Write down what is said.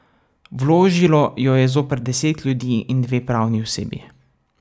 Vložilo jo je zoper deset ljudi in dve pravni osebi.